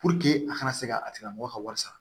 Puruke a kana se ka a tigilamɔgɔ ka wari sara